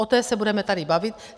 O té se budeme tady bavit.